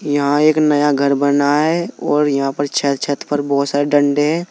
यहां एक नया घर बना है और यहां पर छह छत पर बहुत सारे डंडे हैं।